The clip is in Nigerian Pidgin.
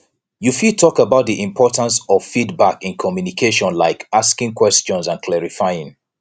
you fit talk about di importance of feedback in communication like asking questions and clarifying